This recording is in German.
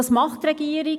Was tut die Regierung?